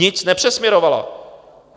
Nic nepřesměrovala.